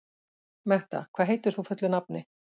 Metta, hvað heitir þú fullu nafni?